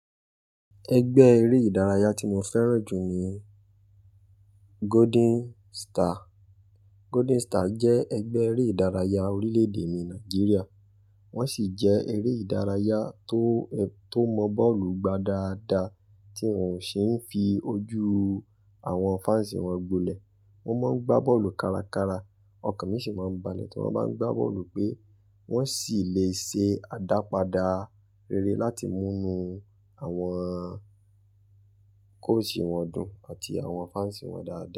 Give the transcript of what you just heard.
Ẹgbẹ́ eré ìdárayá tí mo fẹ́ràn jù ni Golden Star. Golden Star jẹ́ ẹgbẹ́ eré ìdárayá orílẹ̀ èdè mi Nàìjíríà, wọ́n sì jẹ́ eré ìdárayá tó, tó mọ bọ́ọ̀lù gbá dáadáa tí wọ́n ò ṣe é fi ojú àwọn fans wọn gbilẹ̀. Wọ́n máa ń gbá bọ́ọ̀lù kárakára ọkàn mi sì máa ń balẹ̀ tí wọ́n bá ń gbá bọ́ọ̀lù pé wọ́n sì lè ṣe àdàpadà rere láti mú nu àwọn coach wọn dùn àti àwọn fans wọn dáadáa.